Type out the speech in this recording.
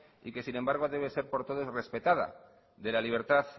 y que sin embargo debe ser por todos respetada de la libertad